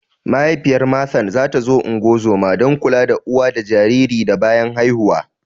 Mahaifiyar Mathew ta zo ungozoma (don kula da uwa da jariri da bayan haihuwa)